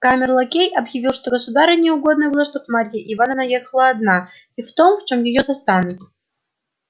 камер-лакей объявил что государыне угодно было чтоб марья ивановна ехала одна и в том в чём её застанут